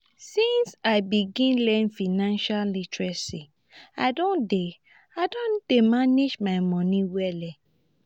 since i begin learn financial literacy i don dey i don dey manage my moni wella.